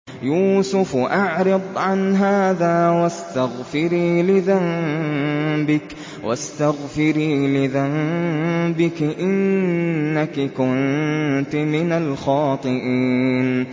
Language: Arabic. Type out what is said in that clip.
يُوسُفُ أَعْرِضْ عَنْ هَٰذَا ۚ وَاسْتَغْفِرِي لِذَنبِكِ ۖ إِنَّكِ كُنتِ مِنَ الْخَاطِئِينَ